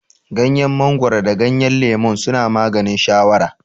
Gyanyen mangoro da gyanyen lemon suna maganin shawara